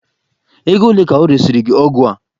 Ego ole ka ọ resịrị gị ọgwụ a?